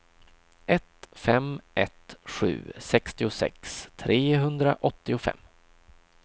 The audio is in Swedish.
ett fem ett sju sextiosex trehundraåttiofem